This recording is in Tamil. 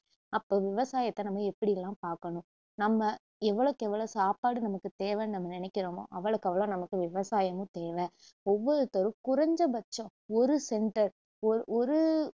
அப்போ விவசாயத்த நம்ம எப்படியெல்லாம் பாக்கணும் நம்ம எவ்வளவுக்கெவ்ளோ சாப்பாடு நமக்கு தேவைன்னு நம்ம நினைக்குறோமோ அவ்ளோக்கவ்ளோ நமக்கு விவசாயமும் தேவை ஒவ்வொருத்தரும் குறைஞ்சபட்சம் ஒரு centre ஒ~ ஒரு